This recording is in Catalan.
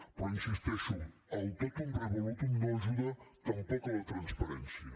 però hi insisteixo el totum revolutum no ajuda tampoc a la transparència